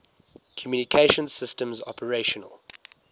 communication systems operational